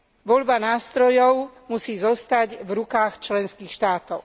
Voľba nástrojov musí zostať v rukách členských štátov.